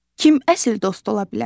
Kim əsl dost ola bilər?